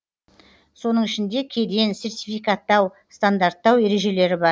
соның ішінде кеден сертификаттау стандарттау ережелері бар